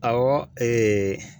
Awɔ